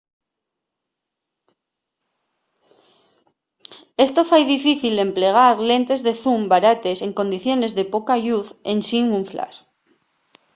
esto fai difícil l’emplegar lentes de zoom barates en condiciones de poca lluz ensin un flash